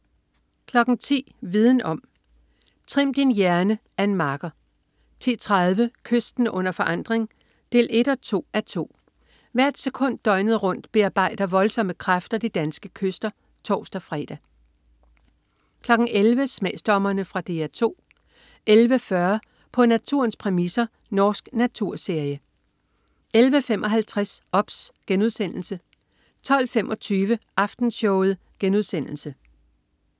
10.00 Viden om: Trim din hjerne. Ann Marker 10.30 Kysten under forandring 1-2:2. Hvert sekund døgnet rundt bearbejder voldsomme kræfter de danske kyster (tors-fre) 11.00 Smagsdommerne. Fra DR 2 11.40 På naturens præmisser. Norsk naturserie 11.55 OBS* 12.25 Aftenshowet*